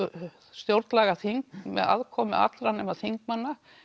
stjórnlagaþing með aðkomu allra nema þingmanna